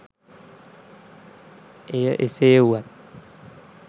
එය එසේ වුවත්